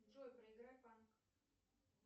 джой проиграй панк